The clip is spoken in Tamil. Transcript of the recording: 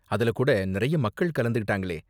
அதுல கூட நிறைய மக்கள் கலந்துக்கிட்டாங்களே.